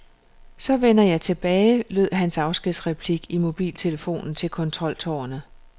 Så vender jeg tilbage, lød hans afskedsreplik i mobiltelefonen til kontroltårnet.